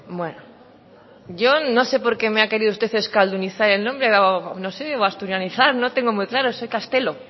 bueno yo no sé porque me ha querido usted euskaldunizar el nombre o no sé o asturianizar no tengo muy claro soy castelo